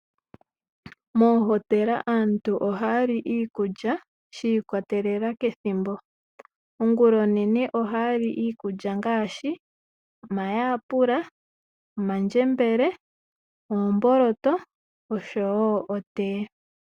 Moohotela aantu oha ya li iikulya shi ikwatelela kethimbo, ongula onene oha ya li iikulya ngaashi omayalula, omandjembele, omboloto osho wo otee.